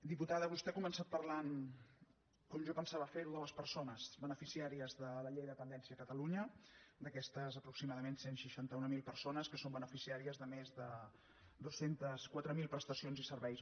diputada vostè ha començat parlant com jo pensava fer ho de les persones les beneficiàries de la llei de dependència a catalunya d’aquestes aproximadament cent i seixanta mil persones que són beneficiàries de més de dos cents i quatre mil prestacions i serveis